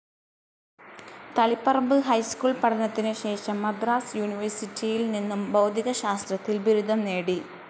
Taliparamba high school പഠനത്തിനുശേഷം മദ്രാസ്‌ യൂണിവേഴ്‌സിറ്റിയിൽ നിന്നും ഭൗതികശാസ്ത്രത്തിൽ ബിരുദം നേടി.